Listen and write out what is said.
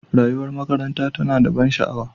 Rayuwar makaranta tana da ban sha'awa.